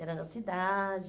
Era na cidade.